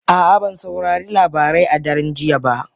A'a, ban saurari labarai a daren jiya ba